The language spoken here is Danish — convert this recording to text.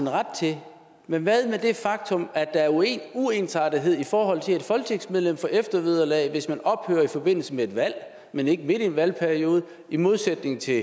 ret til men hvad med det faktum at der er uensartethed i forhold til at et folketingsmedlem får eftervederlag hvis man ophører i forbindelse med et valg men ikke midt i en valgperiode i modsætning til